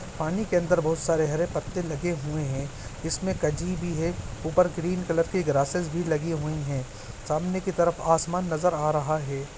पानी के अंदर बहुत सारे हरे पत्ते लगे हुए है। इसमें जागी भी है। उपर ग्रीन कलर की भी लगे हुए हैं। सामने की तरफ आसमान नज़र आ रहा है।